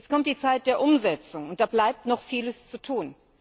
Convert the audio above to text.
Jetzt kommt die Zeit der Umsetzung und da bleibt noch vieles zu tun.